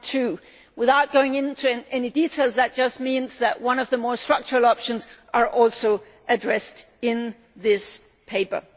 2.2. Without going into detail, that just means that one of the more structural options are also addressed in this paper.